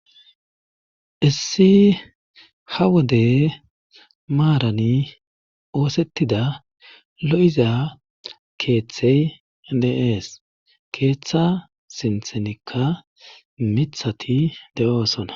issi ha wode maarani oosettida lo7iza keeththey deees keeththa simthenikka mithati de7oosona